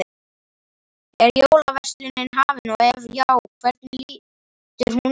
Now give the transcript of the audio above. Er jólaverslunin hafin og ef já, hvernig lítur hún út?